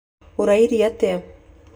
ũraire atĩa?